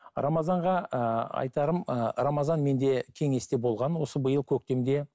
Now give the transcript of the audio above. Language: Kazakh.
рамазанға ыыы айтарым ыыы рамазан менде кеңесте болған осы биыл көктемде